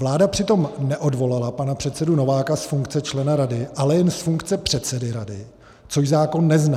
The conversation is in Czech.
Vláda přitom neodvolala pana předsedu Nováka z funkce člena rady, ale jen z funkce předsedy rady, což zákon nezná.